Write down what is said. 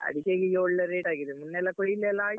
ಅಡಿಕೆಗೀಗ ಈಗ ಒಳ್ಳೆ rate ಆಗಿದೆ ಮೊನ್ನೆ ಎಲ್ಲ ಕೊಯ್ಲ್ ಎಲ್ಲ ಆಯ್ತು.